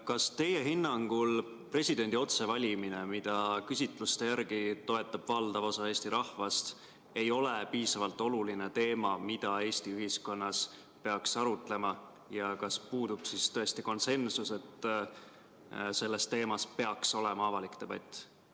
Kas teie hinnangul presidendi otsevalimine, mida küsitluste järgi toetab valdav osa Eesti rahvast, ei ole piisavalt oluline teema, mida Eesti ühiskonnas peaks arutama, ja kas puudub konsensus, et sellel teemal peaks olema avalik debatt?